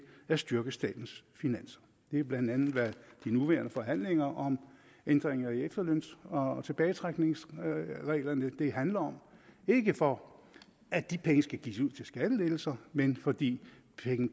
at styrke statens finanser det er bla hvad de nuværende forhandlinger om ændringer i efterløns og tilbagetrækningsreglerne handler om det er ikke for at de penge skal gives ud til skattelettelser men fordi